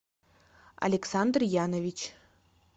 александр янович